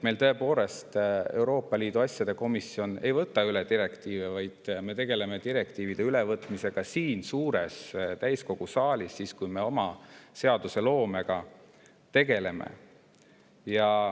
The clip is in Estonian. Euroopa Liidu asjade komisjon tõepoolest ei võta direktiive üle, vaid me tegeleme direktiivide ülevõtmisega siin suures täiskogu saalis siis, kui me ka oma seadusloomega tegeleme.